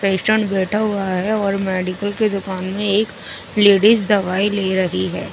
Patient बेठा हुआ है और मेडिकल कि दुकान में एक लेडिस दवाई लेरी है ।